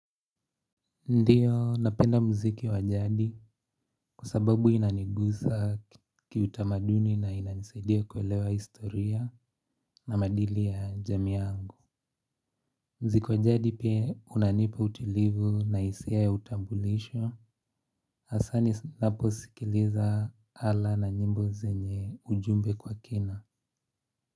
Ndio napenda muziki wa jadi kwa sababu inanigusa kiutamaduni na inanisaidia kuelewa historia na maadili ya jamii yangu. Muziki wa jadi pia unanipa utilivu na hisia ya utambulisho. Hasa ninaposikiliza ala na nyimbo zenye ujumbe kwa kina.